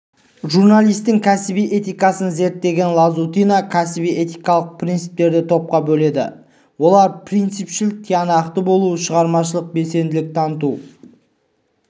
журналистің кәсіби этикасын зерттеген лазутина кәсіби-этикалық принциптерді топқа бөледі олар принципшіл тиянақты болу шығармашылық белсенділік таныту